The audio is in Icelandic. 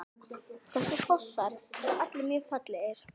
Þessir fossar eru allir mjög fallegir.